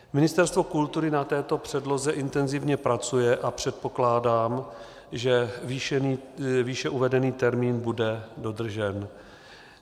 Ministerstvo kultury na této předloze intenzivně pracuje a předpokládám, že výše uvedený termín bude dodržen.